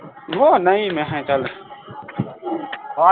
ਉਹ ਨਹੀਂ ਮੈਂ ਕਿਹਾ ਚੱਲ